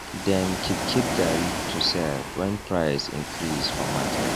dem keep keep garri to sell wen price increase for market